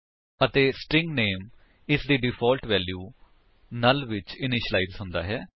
ਅਤੇ ਸਟਰਿੰਗ ਨਾਮੇ ਇਸਦੀ ਡਿਫਾਲਟ ਵੈਲਿਊ ਨੁੱਲ ਵਿੱਚ ਇਨਿਸ਼ਿਲਾਇਜ ਹੁੰਦਾ ਹੈ